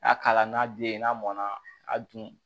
N'a k'a la n'a den n'a mɔnna a dun